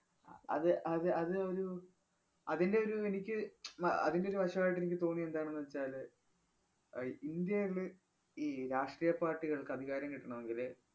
അഹ് അത് അത് അത് ഒരു അതിന്‍റെ ഒരു എനിക്ക് അഹ് അതിന്‍റെ ഒരു വശമായിട്ടു എനിക്ക് തോന്നിയതെന്താണെന്ന് വച്ചാല് ആഹ് ഇന്ത്യേല് ഈ രാഷ്ട്രീയ പാർട്ടികൾക്ക് അധികാരം കിട്ടണമെങ്കില്